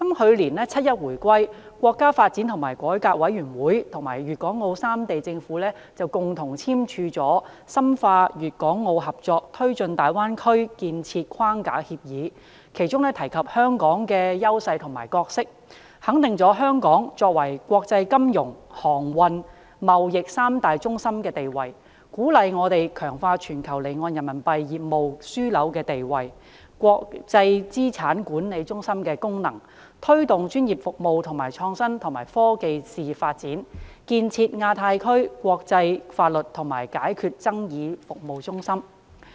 去年七一回歸，國家發展和改革委員會與粵港澳三地政府共同簽署了《深化粵港澳合作推進大灣區建設框架協議》，其中提及香港的優勢和角色，肯定了香港作為國際金融、航運、貿易三大中心的地位，鼓勵我們強化全球離岸人民幣業務樞紐的地位、國際資產管理中心的功能，推動專業服務和創新及科技事業發展，建設亞太區國際法律及解決爭議服務中心。